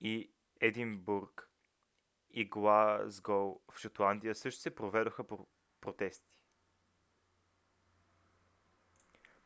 и единбург и глазгоу в шотландия също се проведоха протести